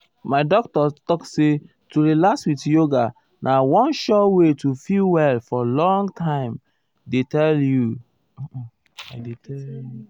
my doctor talk say to relax with yoga na one sure way to feel well for long time i dey tell you.